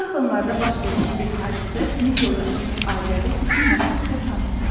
Bu yaxınlarda baş vermiş bir hadisə sinif yoldaşımız Azəri bütün məktəbdə tanıtdı.